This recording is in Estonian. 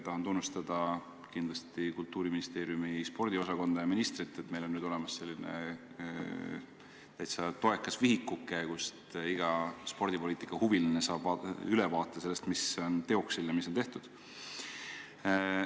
Tahan kindlasti tunnustada Kultuuriministeeriumi spordiosakonda ja ministrit, et meil on nüüd olemas selline täitsa toekas vihikuke, kust iga spordipoliitikahuviline saab ülevaate, mis on teoksil ja mis on tehtud.